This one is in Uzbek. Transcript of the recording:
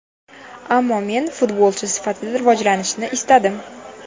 Ammo men futbolchi sifatida rivojlanishni istadim.